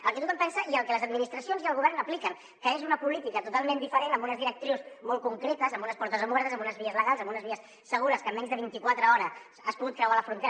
el que tothom pensa i el que les administracions i el govern apliquen que és una política totalment diferent amb unes directrius molt concretes amb unes portes obertes amb unes vies legals amb unes vies segures que en menys de vint i quatre hores has pogut creuar la frontera